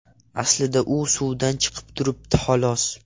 Aslida u suvdan chiqib turibdi, xolos.